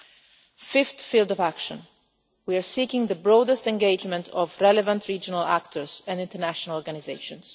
In the fifth field of action we are seeking the broadest engagement of relevant regional actors and international organisations.